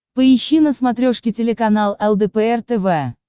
поищи на смотрешке телеканал лдпр тв